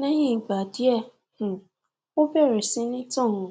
leyin igba die um o bere si ni tan um